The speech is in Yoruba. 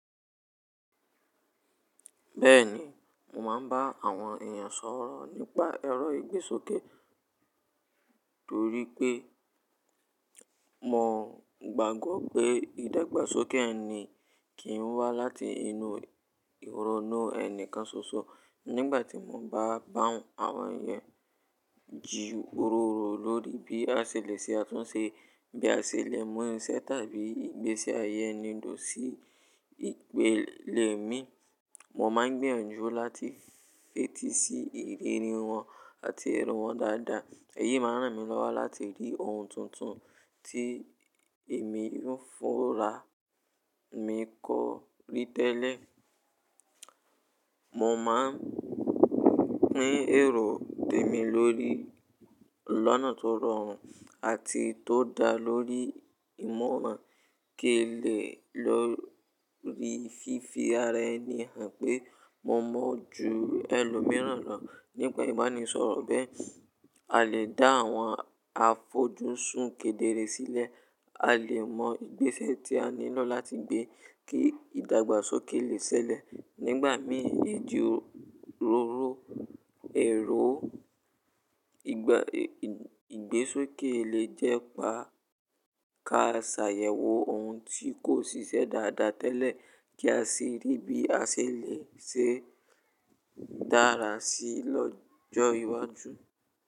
Bẹ́ẹ̀ni, mo máa ń bá àwọn èèyàn sọ̀rọ̀ nípa ẹ̀rọ ìgbésókè torípẹ́ mo gbàgbọ́ pé ìdàgbàsókè ẹni kì í wá láti inú ìrònú ẹnìkan ṣoṣo. Nígbà tí mo bá bá àwọn èèyàn jí òróró lórí bí a ṣe lè ṣe àtúnṣe, bí a ṣe lè mú iṣẹ́ tàbí ìgbésí ayé ẹni duro sí ìpele mi, mo máa ń gbìyànjú láti fetí sí ìrírí wọn àti èrò wọn dáadáa. Èyí máa ń ràn mí lọ́wọ́ láti rí ohun tuntun tí èmi o fúnra mi kọ́ rí tẹ́lẹ̀. Mo máa ń pín èrò tèmi lórí lọ̀nà tó rọrùn àti tó dá lórí ìmọ̀ràn ki n lè lórí fífi ara ẹni hàn pé mo mọ́ ju ẹlòmíràn lọ nípa ìbánisọ̀rọ̀ bẹ́ẹ̀, a lè dá àwọn àfojúsùn kedere sílẹ̀, a lè mọ ìgbésẹ́ tí a nílò láti gbé kí ìdàgbàsókè lè ṣẹlẹ̀. Nígbà mìí, ijí róró èrò ìgbésókè lè jẹ́ pa káṣàyẹ̀wò ohun tí kò ṣiṣẹ́ dáadáa tẹ́lẹ̀ kí a sì rí bí a ṣe lè ṣe dára sí lọ́jọ́ iwájú.